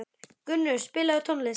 Gunnur, spilaðu tónlist.